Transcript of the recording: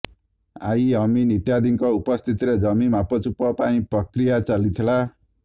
I ଅମିନ ଇତ୍ୟାଦିଙ୍କ ଉପସ୍ଥିତିରେ ଜମି ମାପଚୁପ ପାଇଁ ପ୍ରକ୍ରିୟା ଚାଲିଥିଲା